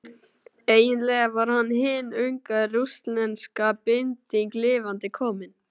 Eiginlega var hann hin unga rússneska bylting lifandi komin.